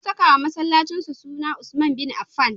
Sun sakawa masallacinsu suna Usman Bin Affan.